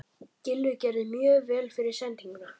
Gylfi gerði mjög vel fyrir sendinguna.